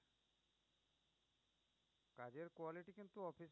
এর quality কিন্তু